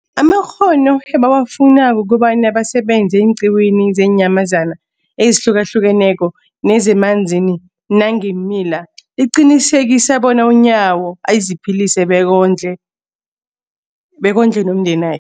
amakghono ebawafunako ukobana basebenze eenqiwini zeenyamazana ezihlukahlukeneko nezemanzini nangeemila, liqinisekisa bona uNyawo aziphilise bekondle bekondle nomndena